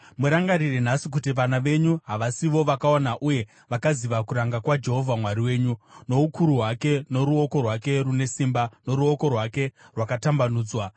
Murangarire nhasi kuti vana venyu havasivo vakaona uye vakaziva kuranga kwaJehovha Mwari wenyu: noukuru hwake, noruoko rwake rune simba, noruoko rwake rwakatambanudzwa;